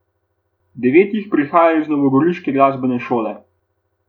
Devet jih prihaja iz novogoriške glasbene šole.